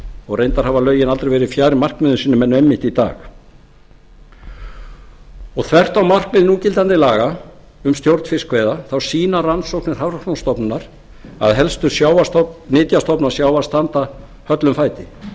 og reyndar hafa lögin aldrei verið fjær markmiðum sínum en einmitt í dag þvert á markmið núgildandi laga um stjórn fiskveiða þá sýna rannsóknir hafrannsóknastofnunar að helstu nytjastofnar sjávar standa höllum fæti